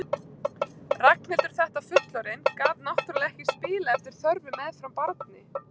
Ragnhildur þetta fullorðin gat náttúrlega ekki spilað eftir þörfum meðfram barni.